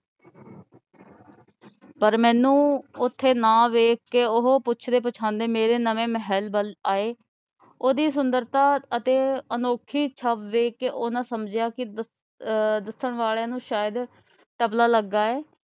ਪਰ ਮੈਨੂੰ ਨਾ ਵੇਖ ਕੇ ਉਹ ਪੁੱਛਦੇ ਪੁਛਾਂਦੇ ਮੇਰੇ ਨਵੇਂ ਮਹਿਲ ਵੱਲ ਆਏ। ਉਹਦੀ ਸੁੰਦਰਤਾ ਅਤੇ ਅਨੋਖੀ ਛੱਬ ਵੇਖ ਕੇ ਉਹਨਾ ਸਮਝਿਆ ਕਿ ਆਹ ਕਿ ਦੱਸਣ ਵਾਲਿਆਂ ਨੂੰ ਸ਼ਾਇਦ . ਲੱਗਾ ਏ।